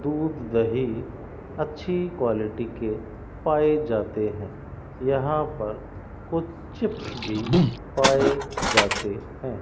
दूध दही अच्छी क्वालिटी के पाए जाते हैं यहां पर कुछ चिप्स भी पाए जाते हैं।